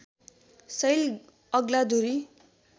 शैल अग्ला धुरी